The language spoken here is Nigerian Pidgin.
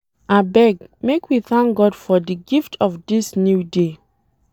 Abeg, make we thank God for di gift of dis new day.